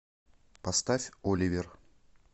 поставь оливер